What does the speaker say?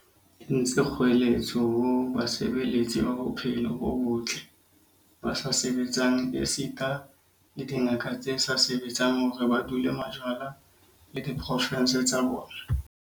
entse kgoeletso ho basebeletsi ba bophelo bo botle ba sa sebetseng esita le dingaka tse sa sebetseng hore ba dule majwana le diprovense tsa bona.